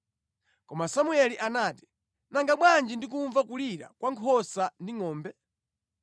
Koma Samueli anati, “Nanga bwanji ndikumva kulira kwa nkhosa ndi ngʼombe?”